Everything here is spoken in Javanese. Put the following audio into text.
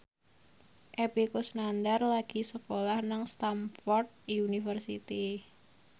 Epy Kusnandar lagi sekolah nang Stamford University